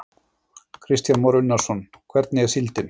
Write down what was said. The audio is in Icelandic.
Kristján Már Unnarsson: Hvernig er síldin?